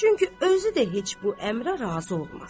Çünki özü də heç bu əmrə razı olmaz.